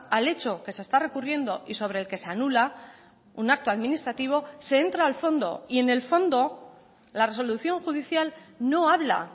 al hecho que se está recurriendo y sobre el que se anula un acto administrativo se entra al fondo y en el fondo la resolución judicial no habla